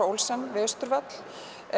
Olsen við Austurvöll